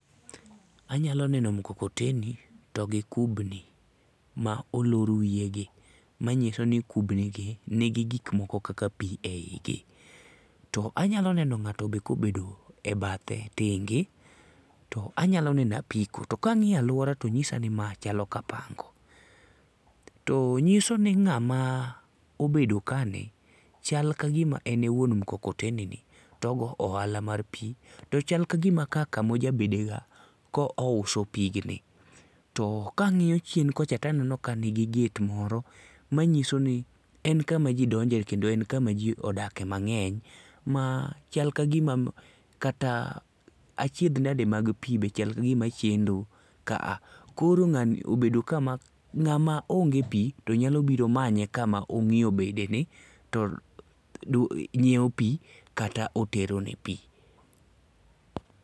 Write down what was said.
Anyalo neno mukokoteni to gi kubni ma olor wiyegi manyiso ni kubnigi ni gi ik moko eigi kaka pi eigi. To anyalo neno ng'ato be ka obedo e bathe tenge to anyalo neno apiko to ka ang'iyo aluora to nyisa ni ma chalo kapango. To nyiso ni ng'ama obedo kani chal kagima en e wuon mukokoteni ni to ogo ohala mar pi to chal kagima kaa kama oja bede ga ka ouso pi gni to ka ang'iyo chien kocha to aneno kanigi gate mro manyiso ni en kama ji donje kendo en kama ji odakie mang'eny ma chal kagima kata ka achiedh nade mag pi be chal kagima chendo kaa. Koro ng'ani obedo ka makoro ng'ama onge pi to nyalo biro manye kama ong'iyo bedeni to nyiewo pi kata oterone pi.